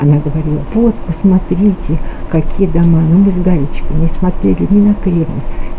она говорила вот посмотрите какие дома но мы с галечкой не смотрели не на кремль